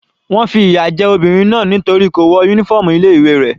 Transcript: Wọ́n fi ìyà jẹ obìnrin náà nítorí kò wọ uniform ilé ìwé rẹ̀.